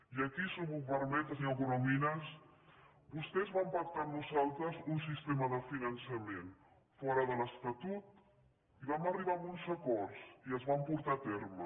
i aquí si m’ho permet senyor corominas vostès van pactar amb nosaltres un sistema de finançament fora de l’estatut i vam arribar a uns acords i es van portar a terme